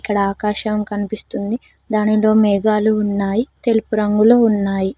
ఈడ ఆకాశం కనిపిస్తుంది దానిలో మేఘాలు ఉన్నాయి తెలుపు రంగులో ఉన్నాయి.